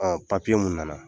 Papiye mun nana